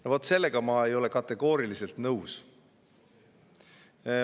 No vot sellega ma ei ole kategooriliselt nõus.